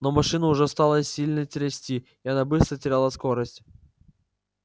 но машину уже стало сильно трясти и она быстро теряла скорость